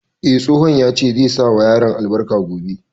Eh, tsohon ya ce zai sa wa yaran albarka gobe